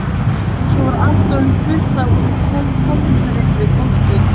Svo var allt orðið fullt af fokreiðu fólki.